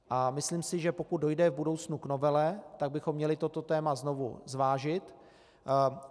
A myslím si, že pokud dojde v budoucnu k novele, tak bychom měli toto téma znovu zvážit.